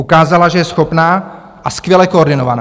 Ukázala, že je schopná a skvěle koordinovaná.